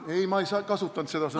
Ei, ma ei kasutanud seda sõna.